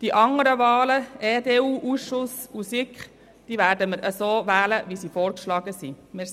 Zu den anderen Wahlen: Betreffend den EDU-Ausschuss und die SiK, werden wir die Vorgeschlagenen wählen.